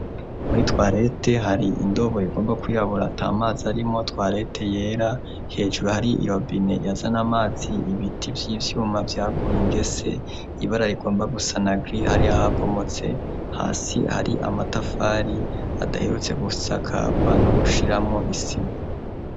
muri twarete hari indobo igomba kwirabura atamazi arimwo twarete yera hejuru hari irobine yazana amazi ibiti vy'ivyuma vyaguye ingese ibara rigomba gusana giri hari ahabomotse hasi hari amatafari adaherutse gusakabwa no gushiramo isima